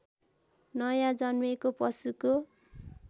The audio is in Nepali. नयाँ जन्मेको पशुको